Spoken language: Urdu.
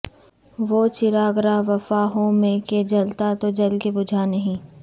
وہ چراغ راہ وفا ہوں میں کہ جلا تو جل کے بجھا نہیں